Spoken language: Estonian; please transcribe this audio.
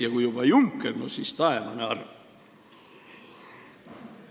Ja kui juba Juncker, no siis taevane arm!